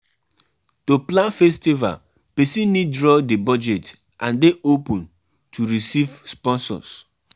No be my family dem dey tell me wetin I go do for my own house.